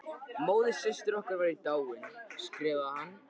Móðursystir okkar væri dáin, skrifaði hann.